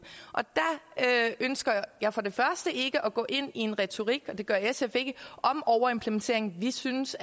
selv ønsker jeg for det første ikke at gå ind i en retorik det gør sf ikke om overimplementering vi synes